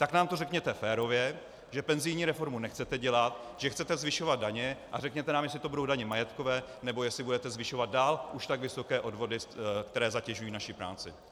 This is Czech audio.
Tak nám to řekněte férově, že penzijní reformu nechcete dělat, že chcete zvyšovat daně, a řekněte nám, jestli to budou daně majetkové, nebo jestli budete zvyšovat dál už tak vysoké odvody, které zatěžují naši práci.